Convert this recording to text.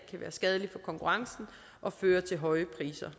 skadelig for konkurrencen og føre til høje priser